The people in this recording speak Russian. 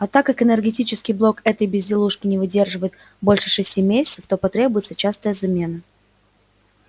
а так как энергетический блок этой безделушки не выдерживает больше шести месяцев то потребуется частая замена